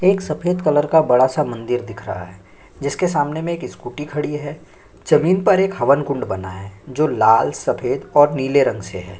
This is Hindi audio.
एक सफ़ेद कलर का बड़ा सा मंदिर दिख रहा है जिसके सामने में एक स्कूटी खड़ी है जमीन पर एक हवन कुंड बना है जो लाल सफ़ेद और नीले रंग से है।